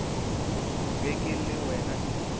be ke le wena ke